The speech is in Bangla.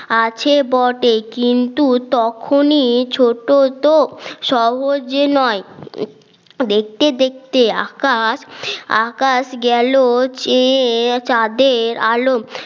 আছে বটে কিন্তু তখনই ছোট তো সহজে নয় দেখতে দেখতে আকাশ আকাশ গেল চেয়ে চাঁদের আলো